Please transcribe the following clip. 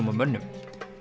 og mönnum